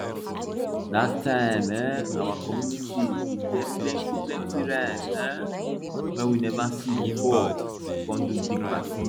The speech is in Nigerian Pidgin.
that time um our community bin get plenty plenty rice um wey we never see before we come do big party